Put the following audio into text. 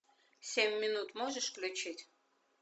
семь минут можешь включить